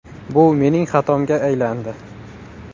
Bu mening xatomga aylandi.